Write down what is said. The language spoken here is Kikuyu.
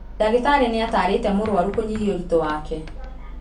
Ndagĩtarĩ nĩatarĩte mũrwaru kũnyihia ũritũ wake